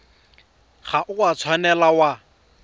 ga o a tshwanela wa